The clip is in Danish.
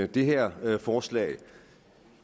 det her forslag